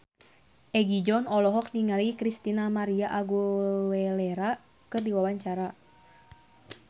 Egi John olohok ningali Christina María Aguilera keur diwawancara